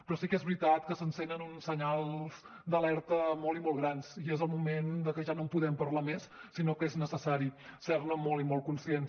però sí que és veritat que s’encenen uns senyals d’alerta molt i molt grans i és el moment de que ja no en podem parlar més sinó que és necessari ser ne molt i molt conscients